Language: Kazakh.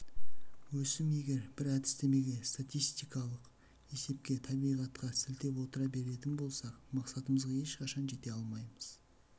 өсім егер біз әдістемеге статистикалық есепке табиғатқа сілтеп отыра беретін болсақ мақсатымызға ешқашан жете алмаймыз